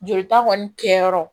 Jolita kɔni kɛyɔrɔ